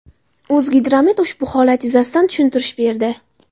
O‘zgidromet ushbu holat yuzasidan tushuntirish berdi.